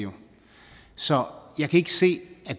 så jeg kan ikke se at